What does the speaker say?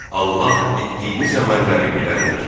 Allah etdiyiniz əməlləri biləndir.